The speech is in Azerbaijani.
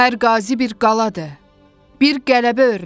Hər qazi bir qaladır, bir qələbə örnəyi.